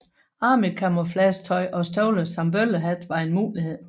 Army camouflage tøj og støvler samt bøllehat var en mulighed